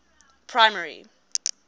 primary